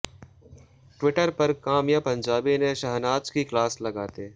Twitter पर काम्या पंजाबी ने शहनाज की क्लास लगाते